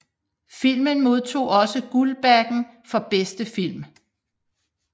Filmen modtog også Guldbaggen for bedste film